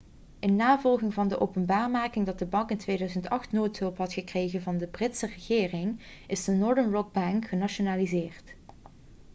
in navolging van de openbaarmaking dat de bank in 2008 noodhulp had gekregen van de britse regering is de northern rock-bank genationaliseerd